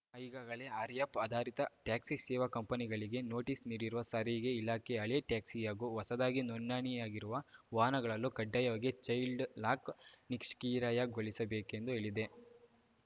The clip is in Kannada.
ಈಗಾಗಲೇ ಆರ್ಯಾಪ್ ಆಧಾರಿತ ಟ್ಯಾಕ್ಸಿ ಸೇವಾ ಕಂಪನಿಗಳಿಗೆ ನೋಟಿಸ್‌ ನೀಡಿರುವ ಸಾರಿಗೆ ಇಲಾಖೆ ಹಳೆ ಟ್ಯಾಕ್ಸಿ ಹಾಗೂ ಹೊಸದಾಗಿ ನೋಂದಣಿಯಾಗಿರುವ ವಾಹನಗಳಲ್ಲೂ ಕಡ್ಡಾಯವಾಗಿ ಚೈಲ್ಡ್‌ಲಾಕ್‌ ನಿಷ್ಕ್ ಕ್ರಿಯಗೊಳಿಸಬೇಕೆಂದು ಹೇಳಿದೆ